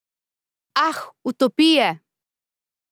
Ah, utopije!